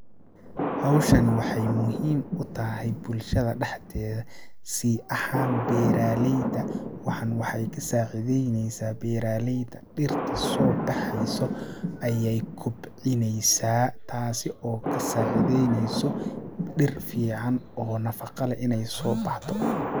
Hawshani waxeey muhiim u tahay bulshada dhaxdeeda si ahaan beeraleyda, waxan waxeey ka saacideyneysaa beeraleyda dhirta soo baxeyso ayeey kobcineysaa ,taasi oo ka saacideyneyso dhir fiican oo nafaqo leh ineey soo baxdo.